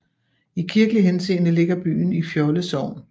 I kirkelig henseende ligger byen i Fjolde Sogn